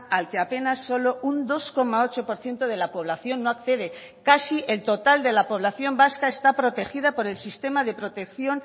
al que apenas solo un dos coma ocho por ciento de la población no accede casi el total de la población vasca está protegida por el sistema de protección